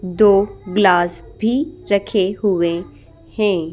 दो गिलास भी रखे हुए हैं।